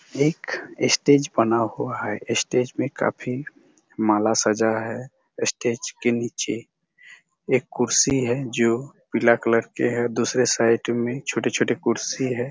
एक स्टेज बना हुआ है स्टेज मे काफी माला सजा है स्टेज के निचे एक कुर्सी है जो पीला कलर के है दूसरे साइट मे छोटे-छोटे कुर्सी है।